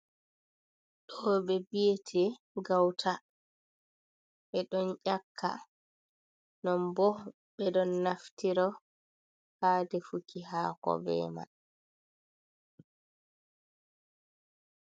Ɗo ɓe biyete gauta, ɓe ɗon ƴaka, non bo ɓe ɗon naftiro ha defuki hako be man.